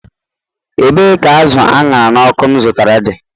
Ebee ka azụ̀ aṅhara n'ọkụ m zụtara dị?